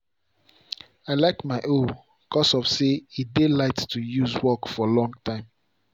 i like my hoe cause of say e dey light to use work for long time.